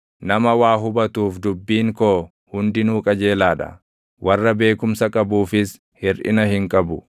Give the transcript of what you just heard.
Nama waa hubatuuf dubbiin koo hundinuu qajeelaa dha; warra beekumsa qabuufis hirʼina hin qabu.